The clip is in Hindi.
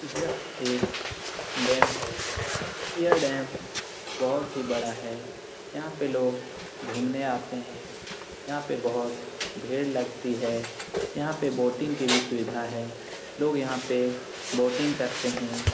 यह एक डैम है। यह डैम बहुत ही बड़ा है। यहाँ पे लोग घुमने आते हैं। यहाँ पे बहुत भीड़ लगती है। यहाँ पे बोटिंग की भी सुविधा है। लोग यहाँ पे बोटिंग करते हैं।